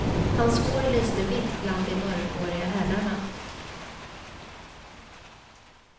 Hans hår lyste vitt bland de mörkhåriga herrarna.